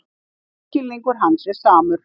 Lífsskilningur hans er samur.